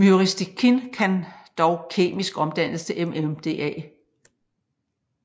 Myristicin kan dog kemisk omdannes til MMDA